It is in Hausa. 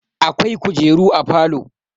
akwai kujeru a falo